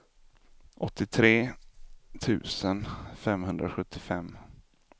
åttiotre tusen femhundrasjuttiofem